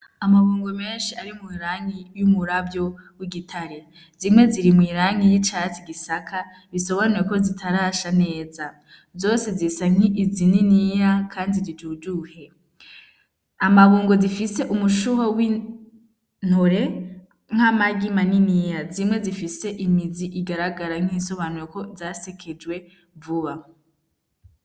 Amabungo menshi ari mw'irangi y'umuravyo w'igitare zimwe ziri mw'irangi y'icatsi igisaka bisobanure ko zitarasha neza zose zisa nkiizi niniya, kandi zijujuhe amabungo zifise umushuho w'intore nk'amag imaniniya zimwe zifiseme mizi igaragara nk'insobanureko zasekejwe vuba.